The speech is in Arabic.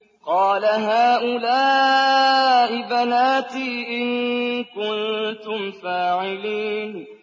قَالَ هَٰؤُلَاءِ بَنَاتِي إِن كُنتُمْ فَاعِلِينَ